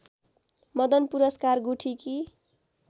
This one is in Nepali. मदन पुरस्कार गुठीकी